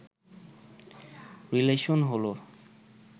relation হলো